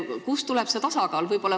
Kust tuleb see tasakaal?